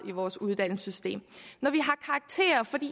i vores uddannelsessystem